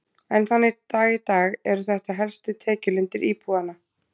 Enn þann dag í dag eru þetta helstu tekjulindir íbúanna.